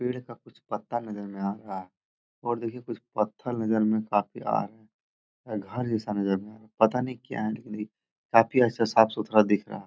पेड़ का कुछ पत्ता यहाँ नजर में आ रहा है और देखिए कुछ पत्थर नजर में काफी आ रहा रहा है और घर जैसा नजर में पता नहीं ये क्या है? काफी अच्छा साफ-सुथरा दिख रहा --